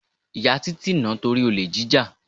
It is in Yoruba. Ìyá Títí nà-án torí olè jíjà.